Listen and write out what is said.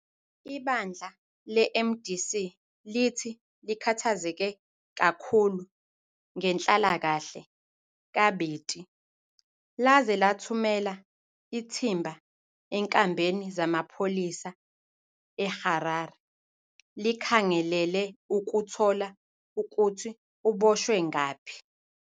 Ibandla leMDC lithi likhathazeke kakhulu ngenhlalakahle kaBiti laze lathumela ithimba enkambeni zamapholisa eHarare likhangelele ukuthola ukuthi ubotshwe ngaphi.